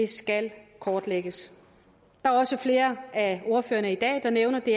skal kortlægges der er også flere af ordførerne i dag der nævner at det